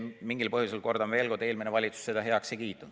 Mingil põhjusel, kordan veel kord, eelmine valitsus seda heaks ei kiitnud.